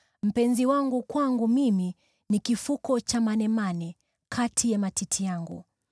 Mpenzi wangu kwangu mimi ni kifuko cha manemane kati ya matiti yangu.